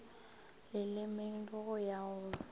lelemeng le go ya go